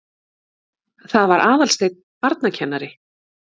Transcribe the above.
Það var Aðalsteinn barnakennari.